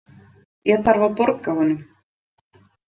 Ég þarf að borga honum.